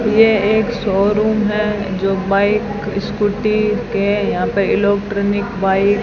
ये एक शोरूम है जो बाइक स्कूटी के यहां पे इलेक्ट्रॉनिक बाइक --